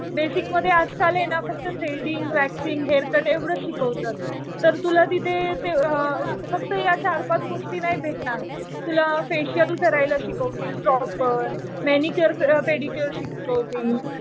Basic मध्ये आजकाल आहे ना फक्त थ्रेडींग, वॅक्सिन्ग, हेअर कट एवढंच शिकवतात. तर तुला तिथे फक्त या चार-पाच गोष्टी नाही भेटणार. तुला फेशियल करायला शिकवतील प्रॉपर. मॅनिक्युअर, पेडिक्युअर शिकवतील.